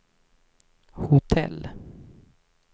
hotell